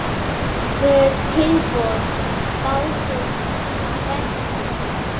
Tvö tilboð bárust í verkið.